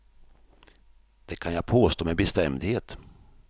Det kan jag påstå med bestämdhet.